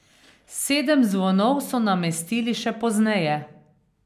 Sedem zvonov so namestili še pozneje.